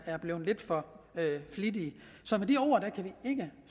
er blevet lidt for flittige med de ord kan vi ikke